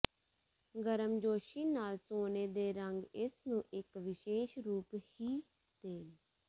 ਗਰਮਜੋਸ਼ੀ ਨਾਲ ਸੋਨੇ ਦੇ ਰੰਗ ਇਸ ਨੂੰ ਇੱਕ ਵਿਸ਼ੇਸ਼ ਰੂਪ ਹੀ ਦੇਣ